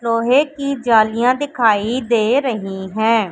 लोहे की जालियां दिखाई दे रही हैं।